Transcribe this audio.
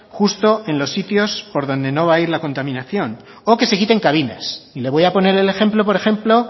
justo en los sitios por donde no va a ir la contaminación o que se quiten cabinas y le voy a poner el ejemplo por ejemplo